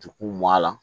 Juku bɔ a la